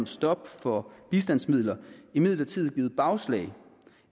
stop for bistandsmidler imidlertid givet bagslag